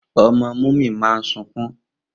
Omo Muni maa sunkun